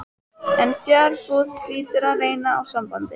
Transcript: En fjarbúð hlýtur að reyna á sambandið.